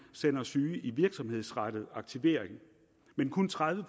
sender syge i virksomhedsrettet aktivering men kun tredive